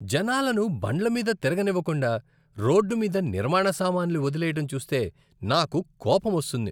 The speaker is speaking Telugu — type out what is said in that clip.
జనాలను బండ్ల మీద తిరగనివ్వకుండా రోడ్డు మీద నిర్మాణ సామాన్లు వదిలేయడం చూస్తే నాకు కోపమొస్తుంది.